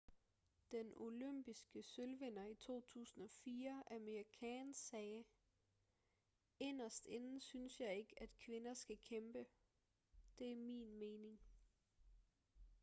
den olympiske sølvvinder i 2004 amir khan sagde inderst inde synes jeg ikke at kvinder skal kæmpe det er min mening